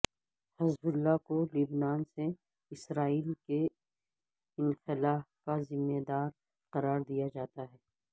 حزب اللہ کو لبنان سے اسرائیل کے انخلاء کا ذمہ دار قرار دیا جاتا ہے